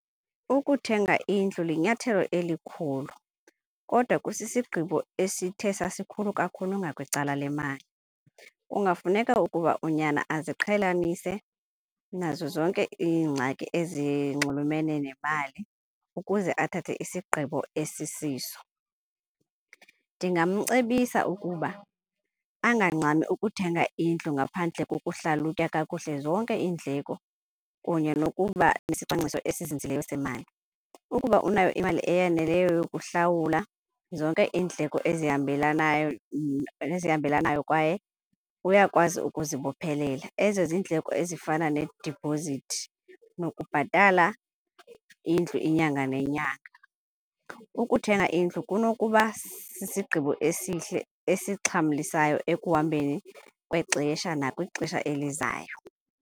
Ukuthenga indlu linyathelo elikhulu kodwa kusisigqibo esithe sasikhulu kakhulu ngakwicala le mali. Kungafuneka ukuba unyana aziqhelanise nazo zonke iingxaki ezinxulumene nemali ukuze athathe isigqibo esisiso. Ndingamcebisa ukuba angangxami ukuthenga indlu ngaphandle kokuhlalutya kakuhle zonke iindleko kunye nokuba nesicwangciso esizinzileyo semali. Ukuba unayo imali eyaneleyo yokuhlawula zonke iindleko esihambelanayo esihambelanayo kwaye uyakwazi ukuzibophelela. Ezo ziindleko ezifana nedipozithi nokubhatala indlu inyanga nenyanga. Ukuthenga indlu kunokuba sisigqibo esihle esixhamlisayo ekuhambeni kwexesha nakwixesha elizayo.